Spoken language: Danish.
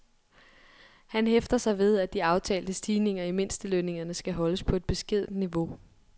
Han hæfter sig ved, at de aftalte stigninger i mindstelønningerne skal holdes på et beskedent niveau.